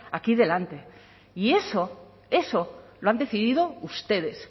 aquí delante y eso eso lo han decidido ustedes